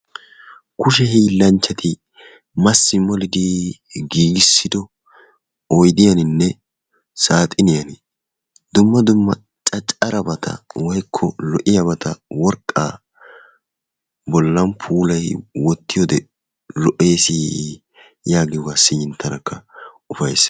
Kushe hiillanchchati massi molidi giigissido oyidiyaninne saaxiniyan dumma dumma caccarabata woyikko lo'iyabata worqqaa bollan puulayi wottiyoode lo'eesi yaagiyogaa siyin tanakka ufayissis.